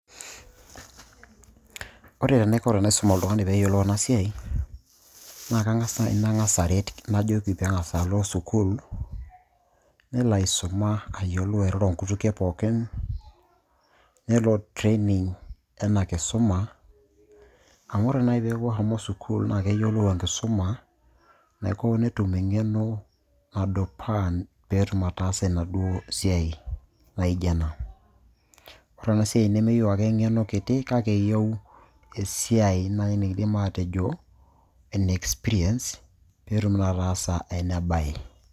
Ore enaiko tenaisum oltung'ani peeyiolou ena siai naa kang'as naai nang'as aret najoki pee ang'as alo school nelo aisuma ayiolou airoro inkutukie pookin nelo training ena kisuma amu ore naaji peeku eshomo school naa keyiolou enkisum naiko netum eng'eno nadupaa peetum ataasa enaduo siai naijio ena ore ena siai nemeyieu ake eng'eno kiti kake eyieu esiai naaji nikiindim aatejo ene experience peetum naa ataasa ena baye.